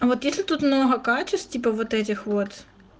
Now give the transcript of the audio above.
а вот если тут много качеств типа вот этих вот